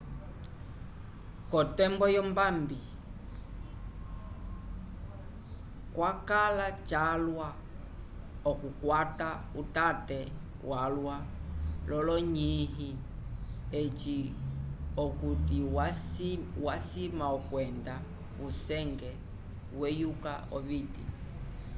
k'otembo yombambi cakãla calwa okukwata utate walwa l'olonyĩhi eci okuti wasima okwenda vusenge weyuka oviti